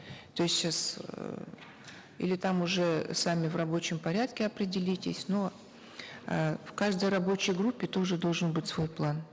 то есть сейчас э или там уже сами в рабочем порядке определитесь но э в каждой рабочей группе тоже должен быть свой план